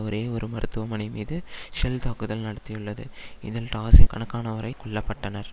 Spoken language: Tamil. ஒரே ஒரு மருத்துவமனை மீது ஷெல் தாக்குதல் நடாத்தியுள்ளது இதில் டாசின் கணக்கானோரை கொல்ல பட்டனர்